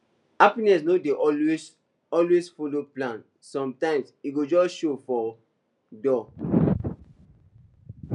happiness no dey always always follow plan sometimes e go just show for door